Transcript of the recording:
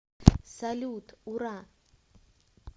салют ура